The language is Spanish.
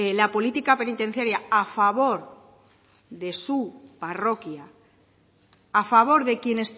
la política penitenciaria a favor de su parroquia a favor de quien